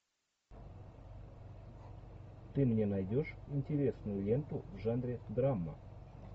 ты мне найдешь интересную ленту в жанре драма